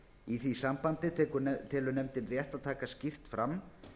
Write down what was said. í því sambandi telur nefndin rétt að taka skýrt fram